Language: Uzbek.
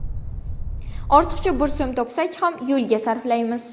Ortiqcha bir so‘m topsak ham yo‘lga sarflaymiz.